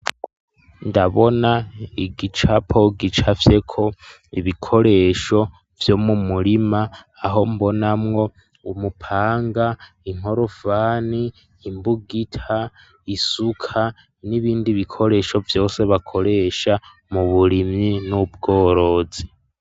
Ndabona igicapo gicafye ko ibikoresho vyo mumurima aho mbona mwo umupanga, inkorofani ,imbugita isuka n'ibindi bikoresho vyose bakoresha mu burimyi n'ubworozi.